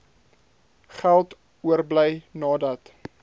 geld oorbly nadat